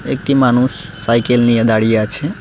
একটি মানুষ সাইকেল নিয়ে দাঁড়িয়ে আছে।